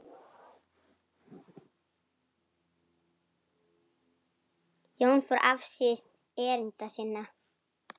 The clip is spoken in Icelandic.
Jón fór afsíðis erinda sinna.